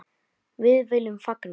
Við viljum líka fagna.